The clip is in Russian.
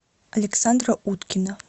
александра уткина